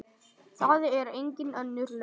Það er engin önnur lausn.